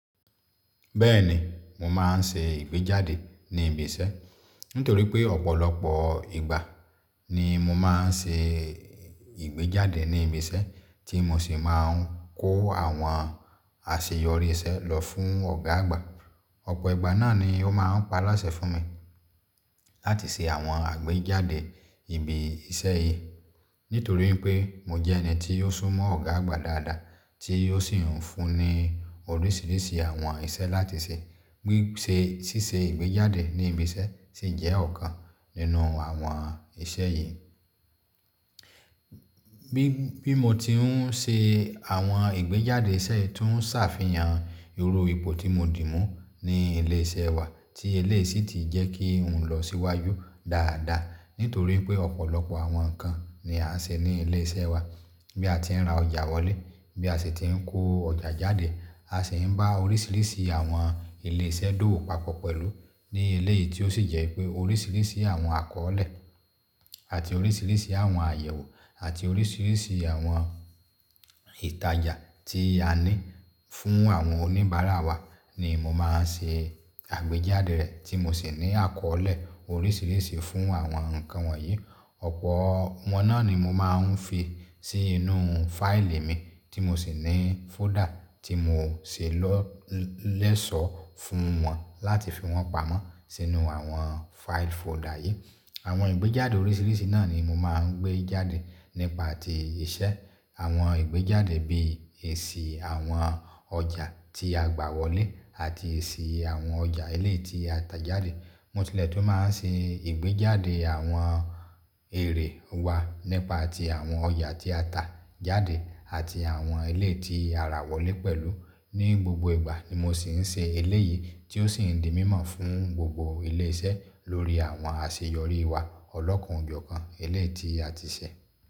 Bẹ́ẹ̀ni, mo máa ń ṣe ìgbéjáde ní ibi isẹ́. Nítorí pé ọ̀pọ̀lọpọ̀ ìgbà ni mo máa ń ṣe ìgbéjáde ní ibi iṣẹ́ tí mo sì máa ń kó àwọn àṣeyọrí iṣẹ́ lọ fún Ọ̀gá àgbà. Ọ̀pọ̀ ìgbà náà ni ó máa ń pa á láṣẹ fún mi láti se àwọn àgbéjáde ibi isẹ́ yìí. Nítorí pé mo jẹ́ ẹni tí ó sún mọ́ Ọ̀gá àgbà dáadáa tí ó sì ń fún ní oríṣiríṣi àwọn isẹ́ láti se. Bí i se sise ìgbéjáde ní ibi isẹ́ sì jẹ́ ọ̀kan nínú àwọn iṣẹ́ yìí. Bí, bí mo ti ń se àwọn ìgbéjáde isẹ́ tó ń sàfihàn irú ipò tí mo dì mú ní ilé isẹ́ wa tí eléyìí sì ti jẹ́ kí n lọ síwáyú dáadáa. Nítorí pé ọ̀pọ̀lọpọ̀ àwọn nǹkan ni a ń se ní ilé isẹ́ wa. Bí a ti ń ra ọjà wọlé, bí a sì ti ń kó ọjà jáde, a sì ń bá orísirísi àwọn ilé isẹ́ dòwò papọ̀ pẹ̀lú ní eléyìí tí ó sì jẹ́ pé orísirísi àwọn akọ́ọ́lẹ̀ àti orísirísi àwọn àyẹ̀wò àti oríṣiríṣi àwọn ìtajà tí a ní fún àwọn oníbàárà wa ni mo máa ń se àgbéjáde rẹ̀ tí mo sì ní akọ́ọ́lẹ̀ orísirísi fún àwọn nǹkan wọ̀nyí. Ọ̀pọ̀ wọn náà ni mo máa ń fi sínú fáìlì mi tí mo sì ní fóldà tí mo se lọ́ lẹ́sọ̀ọ́ fún wọn láti fi wọ́n pamọ́ sínú àwọn fáìlì fóldà yìí. Àwọn ìgbéjáde oríṣiríṣi náà ni mo máa ń gbé jáde nípa ti iṣẹ́. Àwọn ìgbéjáde bí èsì àwọn ọjà tí a gbà wọlé àti èsì àwọn ọjà ilé tí a tà jáde. Mo tilẹ̀ tún máa ń se ìgbéjáde àwọn èrè wa nípa ti àwọn ọjà tí a tà jáde àti àwọn eléyìí tí ara wọlé pẹ̀lú. Ni gbogbo ìgbà ni mo sì ń se eléyìí tí ó sì ń di mímọ̀ fún gbogbo ilé isẹ́ lórí àwọn àseyọrí wa ọlọ́kanojọkan eléyìí tí a ti se.